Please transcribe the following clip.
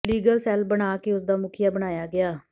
legal cell ਬਣਾ ਕੇ ਉਸ ਦਾ ਮੁਖੀਆ ਬਣਾਇਆ ਗਿਆ